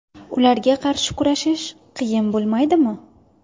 Ularga qarshi kurashish qiyin bo‘lmaydimi?